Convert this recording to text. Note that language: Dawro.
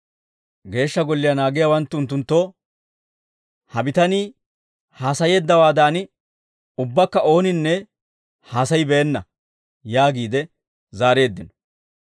Geeshsha Golliyaa naagiyaawanttu unttunttoo, «Ha bitanii haasayeeddawaadan, ubbakka ooninne haasayibeenna!» yaagiide zaareeddino.